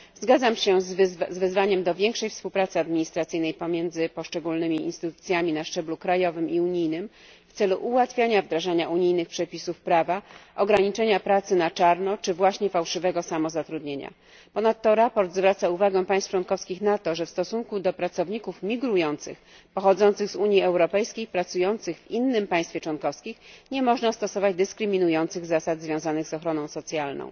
Zgadzam się z wezwaniem do ściślejszej współpracy administracyjnej pomiędzy poszczególnymi instytucjami na szczeblu krajowym i unijnym w celu ułatwiania wdrażania unijnych przepisów prawa, ograniczenia pracy na czarno czy właśnie fałszywego samozatrudnienia. Ponadto sprawozdanie zwraca uwagę państw członkowskich na to, że w stosunku do pracowników migrujących pochodzących z Unii Europejskiej pracujących w innym państwie członkowskim nie można stosować dyskryminujących zasad związanych z ochroną socjalną.